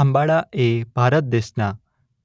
આંબાડા એ ભારત દેશના